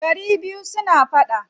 Gari biyu suna faɗa.